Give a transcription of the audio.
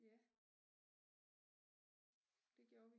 Ja det gjorde vi